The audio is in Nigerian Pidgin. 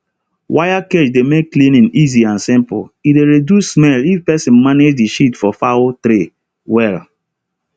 wire cage dey make cleaning easy and simple e dey reduce smell if person manage the shit for fowl tray well